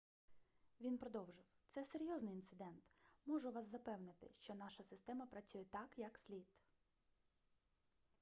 він продовжив це серйозний інцидент можу вас запевнити що наша система працює так як слід